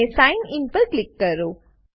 અને sign in પર click કરો